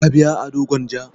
Ka biya ado gwanja?